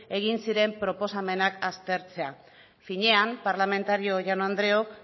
egin ziren proposamenak aztertzea finean parlamentariok jaun andreoak